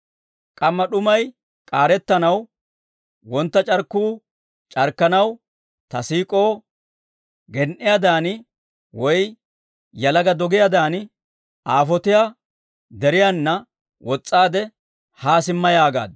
K'amma d'umay k'aarettanaw, wontta c'arkkuu c'arkkanaw, ta siik'ow, gen"iyaadan woy yalaga doggiyaadan, aafotiya deriyaana wos's'aade haa simma yaagaaddu.